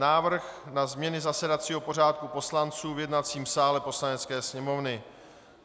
Návrh na změny zasedacího pořádku poslanců v jednacím sále Poslanecké sněmovny